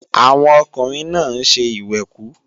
Àwọn ọkùnrin náà ń ṣe ìwẹ̀kú